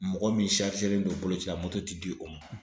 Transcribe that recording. Mɔgɔ min don boloci la moto tɛ di o ma.